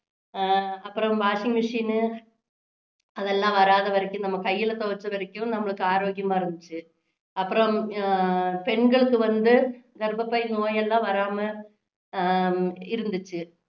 அஹ் அப்பறம் washing machine அதெல்லாம் வராத வரைக்கும் நம்ம கையில துவச்ச வரைக்கும் நம்மளுக்கு ஆரோக்கியமா இருந்திச்சு அப்பறம் அஹ் பெண்களுக்கு வந்து கர்பப்பை நோய் எல்லாம் வராம ஆஹ் இருந்திச்சு